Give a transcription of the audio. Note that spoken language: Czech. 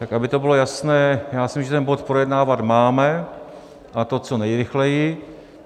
Tak aby to bylo jasné, já si myslím, že ten bod projednávat máme, a to co nejrychleji.